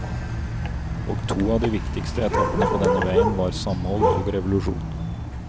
Og to av de viktigste etappene på denne veien var samhold og revolusjon.